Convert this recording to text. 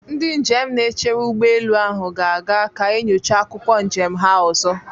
Ndị njem na-echere ụgbọelu ahụ ga-aga ka enyocha akwụkwọ njem ha ọzọ.